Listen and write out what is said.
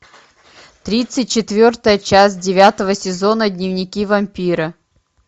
тридцать четвертая часть девятого сезона дневники вампира